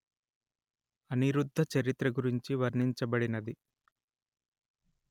అనిరుద్ధచరిత్ర గురించి వర్ణించబడినది